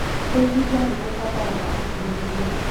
Kũigithia nĩ kũbataraga ũkirĩrĩria.